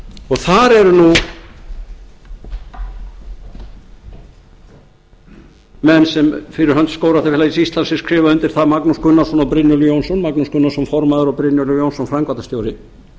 og þar eru nú menn sem fyrir hönd skógræktarfélags íslands sem skrifa undir það magnús gunnarsson og brynjólfur jónsson magnús gunnarsson formaður og brynjólfur jónsson framkvæmdarstjóri